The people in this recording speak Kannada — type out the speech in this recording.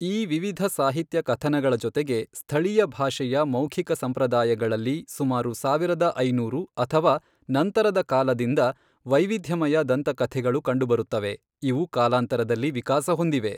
ಈ ವಿವಿಧ ಸಾಹಿತ್ಯ ಕಥನಗಳ ಜೊತೆಗೆ, ಸ್ಥಳೀಯ ಭಾಷೆಯ ಮೌಖಿಕ ಸಂಪ್ರದಾಯಗಳಲ್ಲಿ ಸುಮಾರು ಸಾವಿರದ ಐನೂರು ಅಥವಾ ನಂತರದ ಕಾಲದಿಂದ ವೈವಿಧ್ಯಮಯ ದಂತಕಥೆಗಳು ಕಂಡುಬರುತ್ತವೆ, ಇವು ಕಾಲಾಂತರದಲ್ಲಿ ವಿಕಾಸಹೊಂದಿವೆ.